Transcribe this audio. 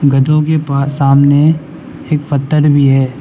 गधों के पास सामने एक पत्थर भी है।